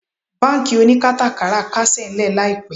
Bánkì oníkátàkárà kásẹ̀ ńlẹ̀ láìpẹ́